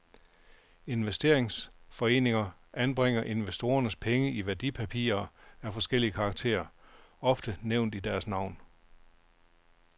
Investeringsforeningerne anbringer investorernes penge i værdipapirer af forskellig karakter, ofte nævnt i deres navn.